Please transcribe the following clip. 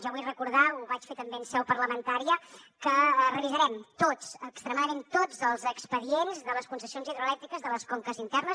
jo vull recordar ho vaig fer també en seu parlamentària que revisarem tots extremadament tots els expedients de les concessions hidroelèctriques de les conques internes